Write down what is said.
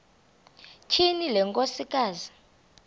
tyhini le nkosikazi